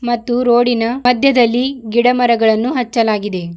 ಮತ್ತು ರೋಡಿನ ಮದ್ಯದಲ್ಲಿ ಗಿಡ ಮರಗಳನ್ನು ಹಚ್ಚಲಾಗಿದೆ.